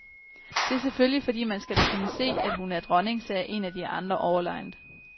Det er selvfølgelig fordi man skal kunne se at hun er dronning, sagde en af de andre overlegent.